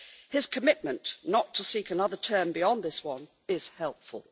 His commitment not to seek another term beyond this one is helpful.